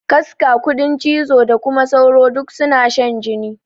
Kaska, kuɗin cizo da kuma sauro duk suna shan jini.